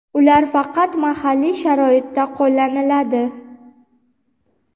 ular faqat mahalliy sharoitda qo‘llaniladi.